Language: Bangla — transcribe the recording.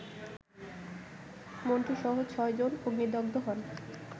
মন্টুসহ ছয় জন অগ্নিদগ্ধ হন